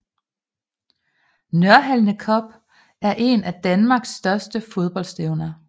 Nørhalne Cup er en af danmarks største fodboldstævner